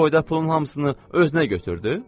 Bu boyda pulun hamısını özünə götürdü?